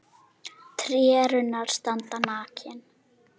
Tré og runnar standa nakin.